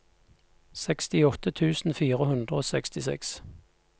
sekstiåtte tusen fire hundre og sekstiseks